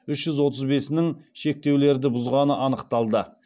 үш жүз отыз бесінің шектеулерді бұзғаны анықталды